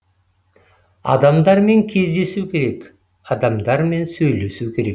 адамдармен кездесу керек адамдармен сөйлесу керек